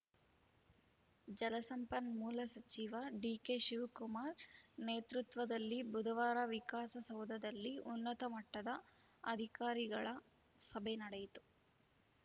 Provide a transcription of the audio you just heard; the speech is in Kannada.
ಜಲಸಂಪನ್ಮೂಲ ಸಚಿವ ಡಿಕೆಶಿವಕುಮಾರ್‌ ನೇತೃತ್ವದಲ್ಲಿ ಬುಧವಾರ ವಿಕಾಸಸೌಧದಲ್ಲಿ ಉನ್ನತಮಟ್ಟದ ಅಧಿಕಾರಿಗಳ ಸಭೆ ನಡೆಯಿತು